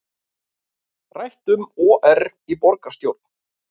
Rætt um OR í borgarstjórn